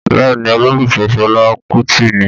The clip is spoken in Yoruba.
Bẹ́ẹ̀ ni, olólùfẹ́ Fela Kuti ni.